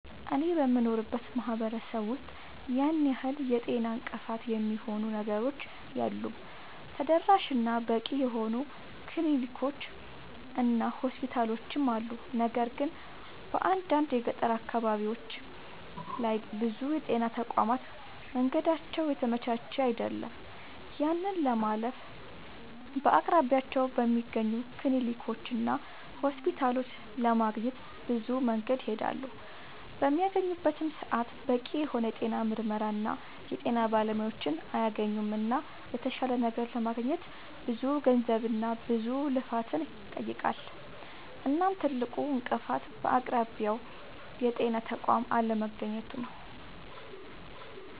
አኔ በምኖርበት ማህበረሰብ ውስጥ ያን ያህል የጤና እንቅፋት የሚሆኑ ነገሮች የሉም ተደራሽ እና በቂ የሆኑ ክሊኒኮች እና ሆስፒታሎችም አሉ። ነገር ግን በአንዳንድ የገጠር አካባቢዎች ላይ ብዙ የጤና ተቋማት መንገዳቸው የተመቻቸ አይደለም። ያንን ለማለፍ በአቅራቢያቸው በሚገኙ ክሊኒኮችና ሆስፒታሎች ለማግኘት ብዙ መንገድን ይሄዳሉ። በሚያገኙበትም ሰዓት በቂ የሆነ የጤና ምርመራና የጤና ባለሙያዎችን አያገኙምና የተሻለ ነገር ለማግኘት ብዙ ገንዘብና ብዙ ልፋትን ይጠይቃል። እናም ትልቁ እንቅፋት በአቅራቢያው የጤና ተቋም አለማግኘቱ ነዉ